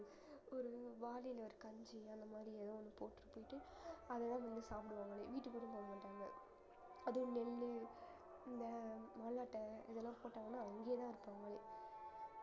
ஒரு வாளியில ஒரு கஞ்சி அந்த மாதிரி ஏதோ ஒண்ணு போட்டுட்டு போயிட்டு அதெல்லாம் வந்து சாப்பிடுவாங்களே வீட்டுக்கு கூட போக மாட்டாங்க அதுவும் நெல்லு இந்த இதெல்லாம் போட்டாங்கன்னா அங்கேயேதான் இருப்பாங்களே